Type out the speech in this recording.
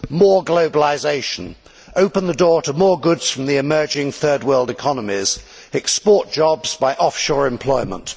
More globalisation, open the door to more goods from the emerging Third World economies, export jobs by off shore employment.